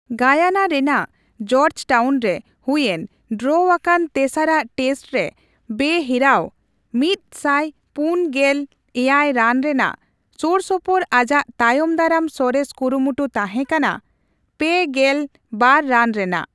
Guyana ᱨᱮᱱᱟᱜ George Town ᱨᱮ ᱦᱩᱭᱮᱱ ᱰᱨᱚ ᱟᱠᱟᱱ ᱛᱮᱥᱟᱨᱟᱜ ᱴᱮᱥᱴ ᱨᱮ ᱵᱮᱼᱦᱤᱨᱟᱹᱣ ᱑᱔᱗ ᱨᱟᱱ ᱨᱮᱱᱟᱜ ᱥᱳᱨᱥᱳᱯᱳᱨ ᱟᱡᱟᱜ ᱛᱟᱭᱚᱢ ᱫᱟᱨᱟᱢ ᱥᱚᱨᱮᱥ ᱠᱩᱨᱩᱢᱩᱴᱩ ᱛᱟᱸᱦᱮ ᱠᱟᱱᱟ ᱓᱒ ᱨᱟᱱ ᱨᱮᱱᱟᱜ ᱾